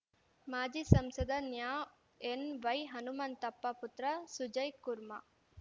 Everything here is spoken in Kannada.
ಮಾಜಿ ಸಂಸದ ನ್ಯಾ ಎನ್‌ವೈಹನುಮಂತಪ್ಪ ಪುತ್ರ ಸುಜಯ್‌ ಕುರ್ಮಾ